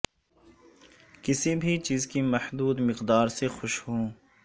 کسی بھی چیز کی محدود مقدار سے خوش ہوں